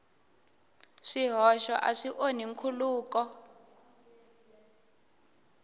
swihoxo a swi onhi nkhuluko